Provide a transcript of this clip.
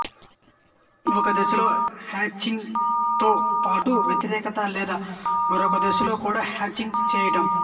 ఒక దిశలో హ్యచింగ్ తో బాటు వ్యతిరేక లేదా మరొక దిశలో కూడా హ్యాచింగ్ చేయటం